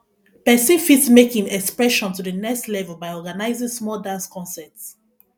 person fit take im expression to the next level by organizing small dance concert